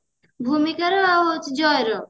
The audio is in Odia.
ଭୂମିକାର ଆଉ ହଉଛି ଜୟ ର